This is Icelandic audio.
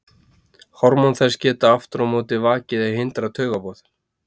hormón þess geta aftur á móti vakið eða hindrað taugaboð